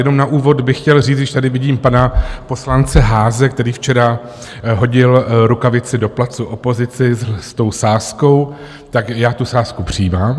Jenom na úvod bych chtěl říct, když tady vidím pana poslance Haase, který včera hodil rukavici do placu opozici s tou sázkou, tak já tu sázku přijímám.